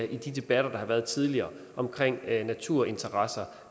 de debatter der har været tidligere omkring naturinteresser